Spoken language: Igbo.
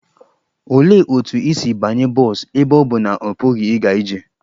Olee otú o si banye bọs ebe ọ bụ na ọ pụghị ịga ije?